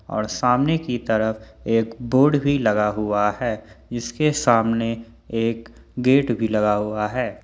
और सामने की तरफ एक बोर्ड भी लगा हुआ है जिसके सामने एक गेट भी लगा हुआ है।